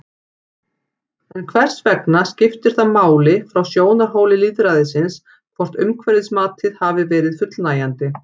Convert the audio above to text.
En hvers vegna skiptir það máli frá sjónarhóli lýðræðisins hvort umhverfismatið hafi verið fullnægjandi?